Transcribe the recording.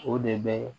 O de bɛ